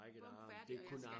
Bum færdig og jeg skal